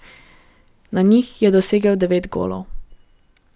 Na njih je dosegel devet golov.